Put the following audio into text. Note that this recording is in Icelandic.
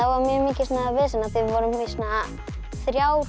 var mikið vesen af því við vorum í þrjár